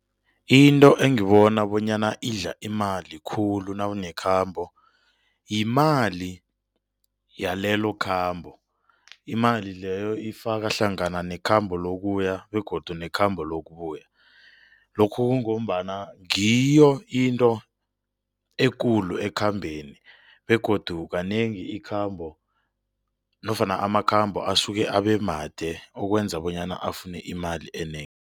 Into engibona bonyana idla imali khulu nawunekhambo yimali yalelokhambo. Imali leyo ifaka hlangana nekhamba lokuya begodu nekhamba lokubuya, lokhu kungombana ngiyo into ekulu ekhambeni begodu kanengi ikhambo nofana amakhambo asuke abe made okwenza bonyana afune imali enengi.